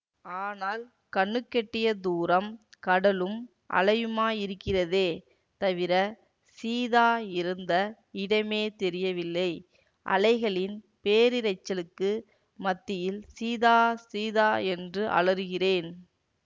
ஆனால் கண்ணுக்கெட்டிய தூரம் கடலும் அலையுமாயிருக்கிறதே தவிர சீதா இருந்த இடமே தெரியவில்லை அலைகளின் பேரிரைச்சலுக்கு மத்தியில் சீதா சீதா என்று அலறுகிறேன்